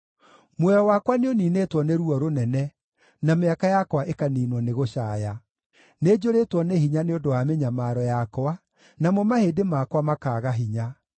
Muoyo wakwa nĩũniinĩtwo nĩ ruo rũnene, na mĩaka yakwa ĩkaniinwo nĩ gũcaaya; nĩnjũrĩtwo nĩ hinya nĩ ũndũ wa mĩnyamaro yakwa, namo mahĩndĩ makwa makaaga hinya.